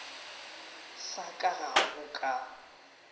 sa ka ga go ka